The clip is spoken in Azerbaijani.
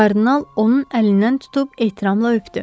Kardinal onun əlindən tutub ehtiramla öpdü.